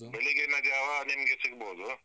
ಬೆಳಗ್ಗಿನ ಜಾವ ನಿಮ್ಗೆ ಸಿಗ್ಬಹುದು.